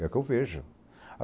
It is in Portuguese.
É o que eu vejo.